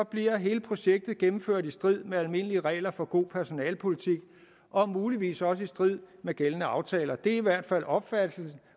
bliver hele projektet gennemført i strid med almindelige regler for god personalepolitik og muligvis også i strid med gældende aftaler det er i hvert fald opfattelsen